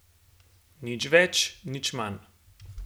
Nič več nič manj.